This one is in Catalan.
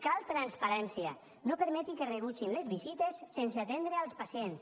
cal transparència no permeti que rebutgin les visites sense atendre els pacients